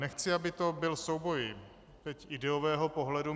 Nechci, aby to byl souboj ideového pohledu.